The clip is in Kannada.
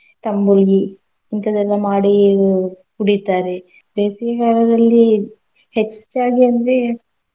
ತಂಬುಳಿ ಇಂತದೆಲ್ಲ ಮಾಡಿ ಕುಡಿತಾರೆ. ಬೇಸಿಗೆ ಕಾಲದಲ್ಲಿ ಹೆಚ್ಚಾಗಿ ಅಂದ್ರೆ.